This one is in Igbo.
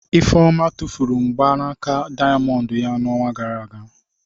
Ifeoma tụfuru mgbanaka dayamondu ya n'ọnwa gara aga.